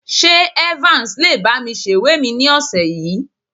Ṣé Evans lè bá mi sèwé mi ní ọ̀sẹ̀ yìí?